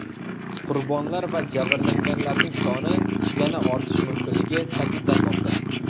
Qurbonlar va jabrlanganlarning soni yana ortishi mumkinligi ta’kidlanmoqda.